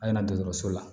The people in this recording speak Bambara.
A ɲɛna dɔgɔtɔrɔso la